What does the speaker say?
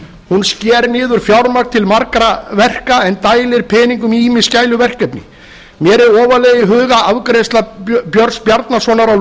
hún sker niður fjármagn til margra verka en dælir peningum í ýmis gæluverkefni mér er ofarlega í huga afgreiðsla björn bjarnasonar á